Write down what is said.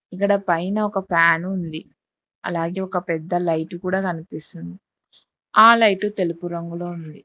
ఇక్కడ పైన ఒక ఫ్యాన్ ఉంది అలాగే ఒక పెద్ద లైట్ కూడా కనిపిస్తుంది ఆ లైటు తెలుపు రంగులో ఉంది.